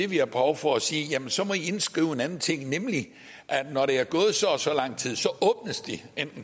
vi har behov for at sige måske jamen så må i indskrive en anden ting nemlig at når der er gået så og så lang tid åbnes de